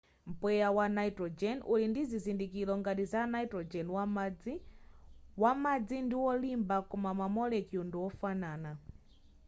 mpweya wa nitrogen uli ndi zizindikiro ngati za nitrogen wamadzi wamadzi ndi olimba koma ma molecule ndi ofanana